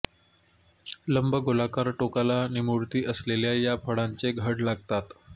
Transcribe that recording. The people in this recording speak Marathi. लंबगोलाकार टोकाला निमुळती असलेल्या या फळांचे घड लागतात